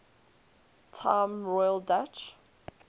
time royal dutch